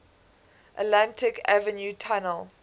atlantic avenue tunnel